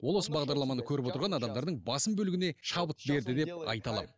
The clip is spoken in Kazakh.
ол осы бағдарламаны көріп отырған адамдардың басым бөлігіне шабыт берді деп айта аламын